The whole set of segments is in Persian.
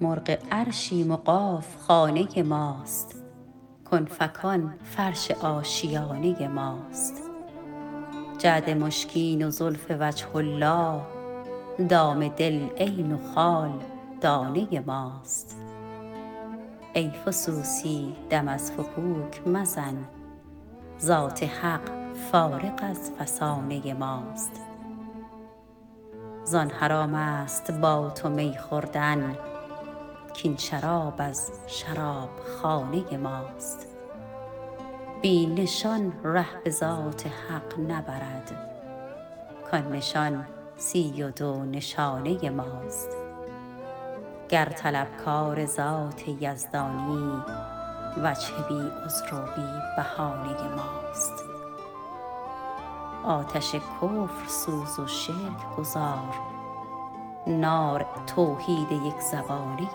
مرغ عرشیم و قاف خانه ماست کن فکان فرش آشیانه ماست جعد مشکین و زلف وجه الله دام دل عین و خال دانه ماست ای فسوسی دم از فکوک مزن ذات حق فارغ از فسانه ماست زان حرام است با تو می خوردن کاین شراب از شرابخانه ماست بی نشان ره به ذات حق نبرد کان نشان سی و دو نشانه ماست گر طلبکار ذات یزدانی وجه بی عذر و بی بهانه ماست آتش کفر سوز و شرک گذار نار توحید یکزبانه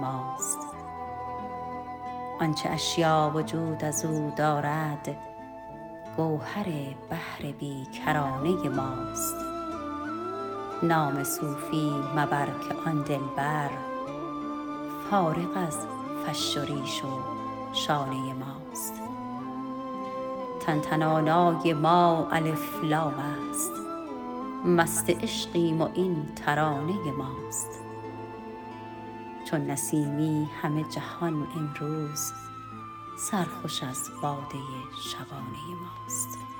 ماست آنچه اشیا وجود از او دارد گوهر بحر بی کرانه ماست نام صوفی مبر که آن دلبر فارغ از فش و ریش و شانه ماست تن تنانای ما الف لام است مست عشقیم و این ترانه ماست چون نسیمی همه جهان امروز سرخوش از باده شبانه ماست